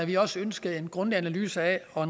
vi også ønskede en grundig analyse og